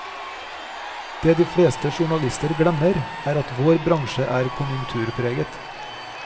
Det de fleste journalister glemmer, er at vår bransje er konjunkturpreget.